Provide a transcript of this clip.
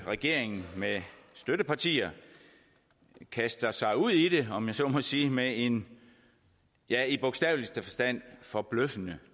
regeringen med støttepartier kaster sig ud i det om jeg så må sige med en ja i bogstaveligste forstand forbløffende